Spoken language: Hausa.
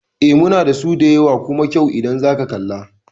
Eh, muna dasu da yawa kuma kyau idan zaka kalla